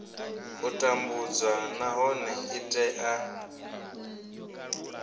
u tambudzwa nahone i tea